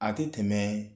A tɛ tɛmɛ